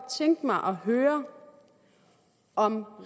tænke mig at høre om